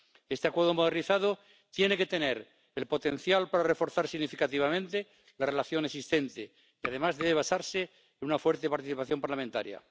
Este Acuerdo modernizado tiene que tener el potencial para reforzar significativamente la relación existente y, además, debe basarse en una fuerte participación parlamentaria.